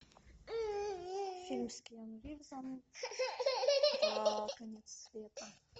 фильм с киану ривзом про конец света